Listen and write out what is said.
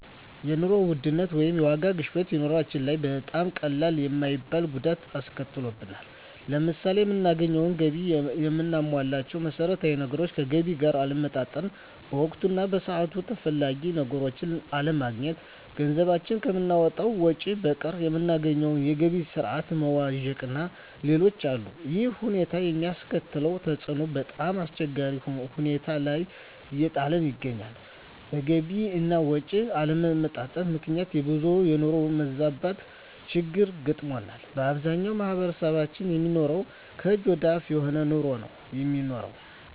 የኑሮ ውድነት ወይም የዋጋ ግሽበት በኑሮአችን ላይ በጣም ቀላል የማይባል ጉዳት አስከትሎብናል። ለምሳሌ የምናገኘው ገቢ እና የምናሟላቸው መሠረታዊ ነገሮች ከገቢ ጋር አለመመጣጠን፣ በወቅቱ እና በሰዓቱ ተፈላጊ ነገሮችን አለማግኘት፣ ገንዘባችን ከምናወጣው ወጭ በቀር የምናገኘው የገቢ ስረዓት መዋዠቅእና ሌሎችም አሉ። ይሕም ሁኔታ የሚያስከትለው ተፅዕኖ በጣምአስቸጋሪ ሁኔታ ላይ እየጣለን ይገኛል። በገቢ አና ወጭ አለመመጣጠን ምክንያት የብዙሀን የኑሮ መዛባት ችግር ገጥሞናል። በአብዛኛው ማሕበረሰብ የሚኖረው ከእጅ ወደ አፍ የሆነ ኑሮ ነው የሚኖረው።